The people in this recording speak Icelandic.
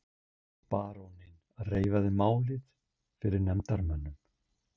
Baróninn reifaði málið fyrir nefndarmönnum.